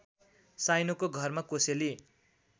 साइनोको घरमा कोसेली